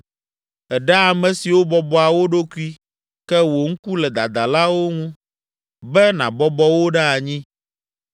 Èɖea ame siwo bɔbɔa wo ɖokui ke wò ŋku le dadalawo ŋu, be nabɔbɔ wo ɖe anyi.